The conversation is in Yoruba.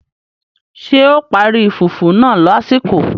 Ṣé o parí fùfú náà lásìkò?